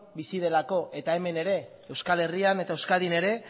bizi delako eta hemen ere euskal herrian eta euskadin ere